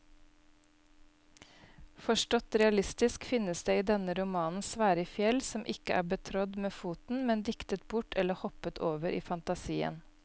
Forstått realistisk finnes det i denne romanen svære fjell som ikke er betrådt med foten, men diktet bort eller hoppet over i fantasien.